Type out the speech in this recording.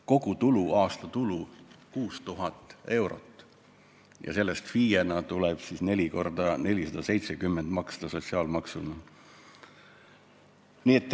Kogu aasta tulu on neil 6000 eurot, millest tuleb FIE-na 4 x 470 eurot sotsiaalmaksuna ära maksta.